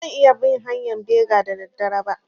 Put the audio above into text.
Ba zan iya bin hanƴan bega da da dare ba